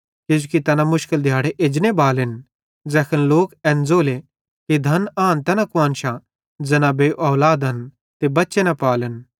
किजोकि तैना मुशकिल दिहाड़े एजने बालेन ज़ैखन लोक एन ज़ोले कि धन आन तैना कुआन्शां ज़ैना बेऔलादन ते बच्चे न पाले